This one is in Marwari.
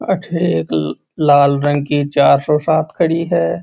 अठे एक लाल रंग की चार सौ सात खड़ी है।